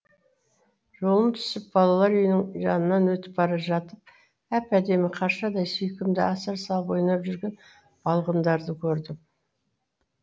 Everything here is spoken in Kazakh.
жолым түсіп балалар үйінің жанынан өтіп бара жатып әп әдемі қаршадай сүйкімді асыр салып ойнап жүрген балғындарды көрдім